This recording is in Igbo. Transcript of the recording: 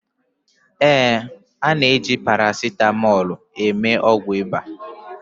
ee, a na-eji paracetamol eme ọgwụ ịba